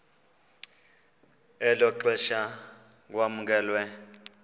elo xesha kwamkelwe